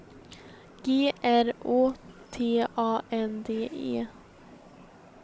G R Å T A N D E